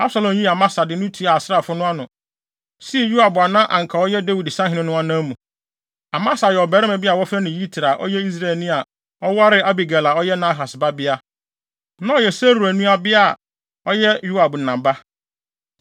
Absalom yii Amasa de no tuaa asraafo no ano, sii Yoab a na anka ɔyɛ Dawid sahene no anan mu. Amasa yɛ ɔbarima bi a wɔfrɛ no Yitra, a ɔyɛ Israelni a ɔwaree Abigail a ɔyɛ Nahas babea, na ɔyɛ Seruia nuabea, a ɔyɛ Yoab na ba.